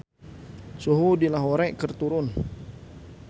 Suhu di Lahore keur turun